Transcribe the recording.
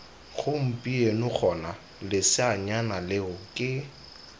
gompieno gona leseanyana leo ke